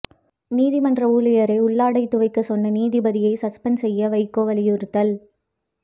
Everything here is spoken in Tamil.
நீதிமன்ற ஊழியரை உள்ளாடை துவைக்கச் சொன்ன நீதிபதியை சஸ்பெண்ட் செய்ய வைகோ வலியுறுத்தல்